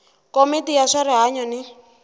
komiti ya swa rihanyu ni